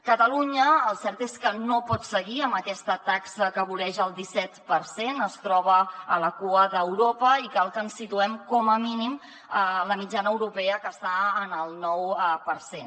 catalunya el cert és que no pot seguir amb aquesta taxa que voreja el disset per cent es troba a la cua d’europa i cal que ens situem com a mínim a la mitjana europea que està en el nou per cent